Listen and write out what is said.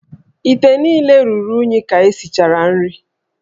íté niile ruru unyi ka esichara nri